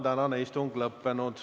Tänane istung on lõppenud.